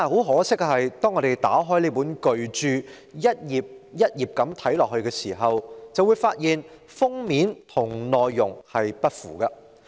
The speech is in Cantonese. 可惜，當我們打開這本巨著逐頁翻看時，便會發現封面的標題與內容不符。